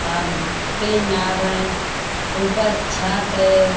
अल तीन नाव है ऊपर छत है ।